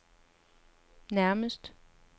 nærmeste